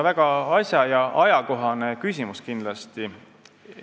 Väga asja- ja ajakohane küsimus kindlasti.